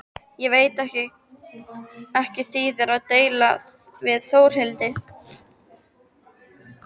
Ég veit að ekki þýðir að deila við Þórhildi.